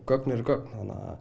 gögn eru gögn